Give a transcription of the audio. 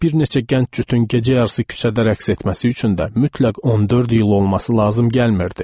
Bir neçə gənc cütün gecə yarısı küçədə rəqs etməsi üçün də mütləq 14 iyul olması lazım gəlmirdi.